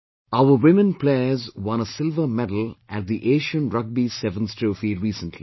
Our women players won a silver medal at the Asian Rugby Sevens Trophy recently